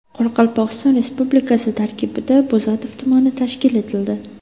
Qoraqalpog‘iston Respublikasi tarkibida Bo‘zatov tumani tashkil etildi.